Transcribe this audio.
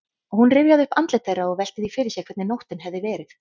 Hún rifjaði upp andlit þeirra og velti því fyrir sér hvernig nóttin hefði verið.